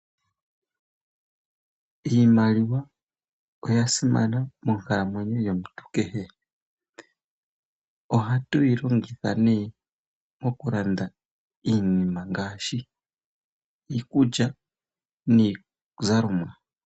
Iimaliwa oya simana monkalamwenyo yomuntu kehe. Ohatu yi longitha ne moku landa iinima ngaashi iikulya niizalomwa.